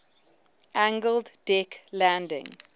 angled deck landing